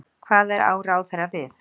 Hvað á ráðherra við?